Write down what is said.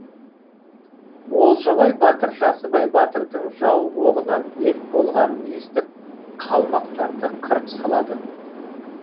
олжабай батыр жасыбай батырдың жау оғынан мерт болғанын естіп қалмақтарды қырып салады